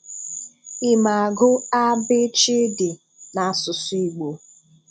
Ị̀ ma agụ́ “a b ch d” n’asụsụ́ Igbo?